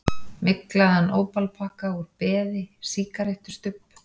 Myglaðan ópalpakka úr beði, sígarettustubb.